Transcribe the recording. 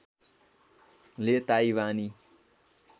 ले ताईवानी